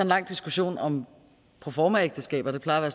lang diskussion om proformaægteskaber det plejer at